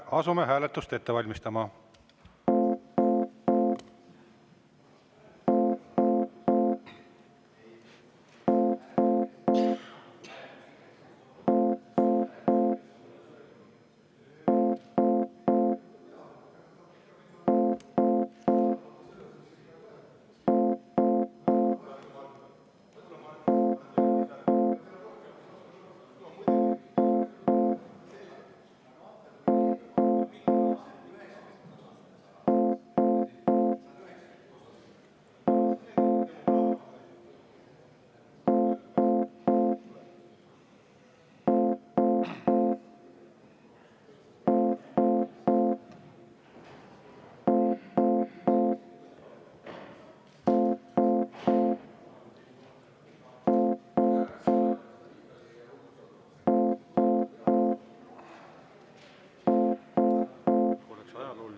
Asume hääletust ette valmistama.